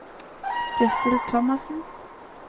Sidsel Thomassen